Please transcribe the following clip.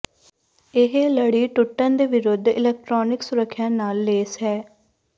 ਇਹ ਲੜੀ ਟੁੱਟਣ ਦੇ ਵਿਰੁੱਧ ਇਲੈਕਟ੍ਰਾਨਿਕ ਸੁਰੱਖਿਆ ਨਾਲ ਲੈਸ ਹੈ